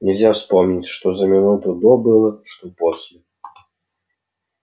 нельзя вспомнить что за минуту до было что после